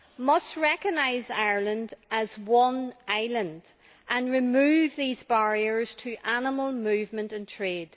must recognise Ireland as one island and remove these barriers to animal movement and trade.